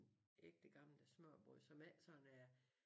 Ægte gamle smørrebrød som ikke sådan er